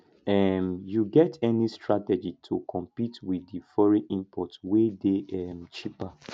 um you get any strategy to compete with di foreign imports wey dey um cheaper